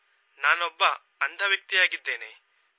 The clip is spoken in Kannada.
ನಾನೊಬ್ಬ ಅಂಧ ವ್ಯಕ್ತಿಯಾಗಿದ್ದೇನೆ